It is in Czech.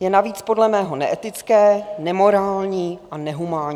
je navíc podle mého neetické, nemorální a nehumánní.